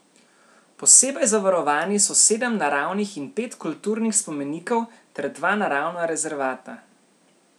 Posebej zavarovani so sedem naravnih in pet kulturnih spomenikov ter dva naravna rezervata.